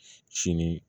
Sini